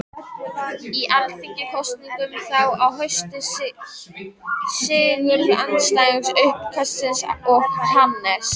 Í alþingiskosningum þá um haustið sigruðu andstæðingar uppkastsins og Hannes